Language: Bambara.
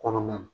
Kɔnɔna na